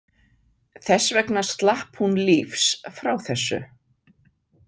Þess vegna slapp hún lífs frá þessu.